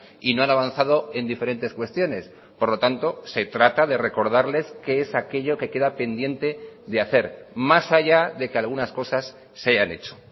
y no han avanzado en diferentes cuestiones por lo tanto se trata de recordarles qué es aquello que queda pendiente de hacer más allá de que algunas cosas se han hecho